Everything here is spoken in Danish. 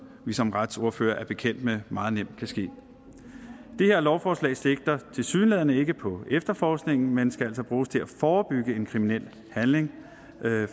vi som retsordførere er bekendt med meget nemt kan ske det her lovforslag sigter tilsyneladende ikke på efterforskningen men skal altså bruges til at forebygge en kriminel handling